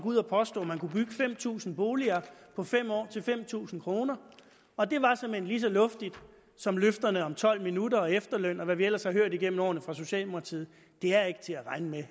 ud og påstå at man kunne bygge fem tusind boliger på fem år til fem tusind kr og det var såmænd lige så luftigt som løfterne om tolv minutter og efterløn og hvad vi ellers har hørt igennem årene fra socialdemokratiet det er ikke til at regne med